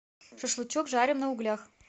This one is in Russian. шашлычок жарим на углях